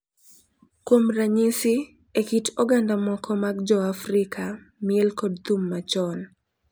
Kuom ranyisi, e kit oganda moko mag Joafrika, miel kod thum machon.